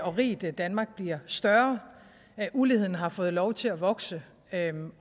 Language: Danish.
og rigt danmark bliver større uligheden har fået lov til at vokse